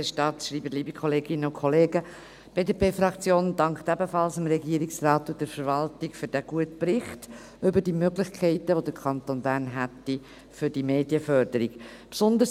Die BDP-Fraktion dankt ebenfalls dem Regierungsrat und der Verwaltung für diesen guten Bericht über die Möglichkeiten, welche der Kanton Bern für die Medienförderung hätte.